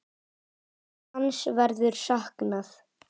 Hans verður saknað.